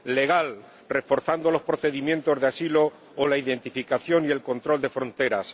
legal, reforzando los procedimientos de asilo o la identificación y el control de fronteras